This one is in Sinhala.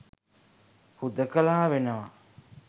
හුදකලා වෙනවා.